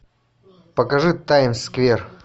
покажи таймс сквер